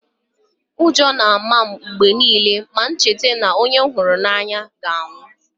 Ụjọ na-ama m mgbe niile ma m cheta na onye m hụrụ n’anya ga-anwụ